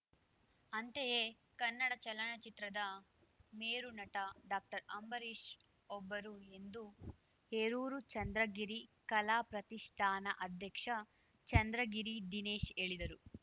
ಅಂತೆಯೇ ಕನ್ನಡ ಚಲನಚಿತ್ರದ ಮೇರುನಟ ಡಾಕ್ಟರ್ಅಂಬರೀಷ್‌ ಒಬ್ಬರು ಎಂದು ಹೇರೂರು ಚಂದ್ರಗಿರಿ ಕಲಾ ಪ್ರತಿಷ್ಠಾನ ಅಧ್ಯಕ್ಷ ಚಂದ್ರಗಿರಿ ದಿನೇಶ್‌ ಹೇಳಿದರು